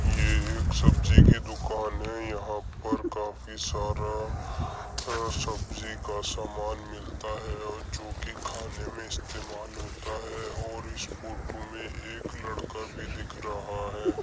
ये एक सब्जी की दुकान है। यहाँ पर काफी सारा अ सब्जी का सामान मिलता है और जो कि खाने में इस्तेमाल होता है और इस फ़ोटो में एक लड़का भी दिख रहा है।